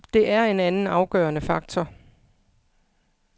Det er en anden afgørende faktor.